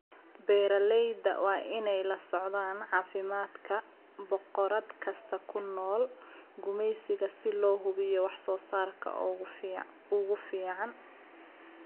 Beeralayda waa inay la socdaan caafimaadka boqorad kasta oo ku nool gumaysiga si loo hubiyo wax soo saarka ugu fiican.